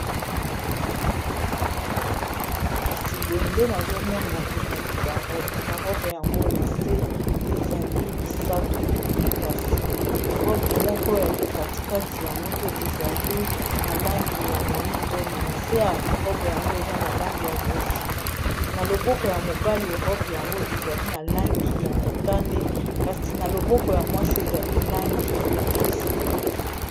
kasi boye nde nazomona ezali barobbarobe yango na se ezali misato boye kasi robe moko ya likatikati yango nde ezali na langi ya moindo me na se ya robe yango eza na langi ya bozinga na loboko ya mobali robe yango ezali na langi ya motane kasi na loboko ya mwasi ezali langi ya bozinga